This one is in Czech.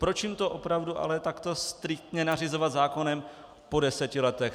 Proč jim to opravdu ale takto striktně nařizovat zákonem po deseti letech?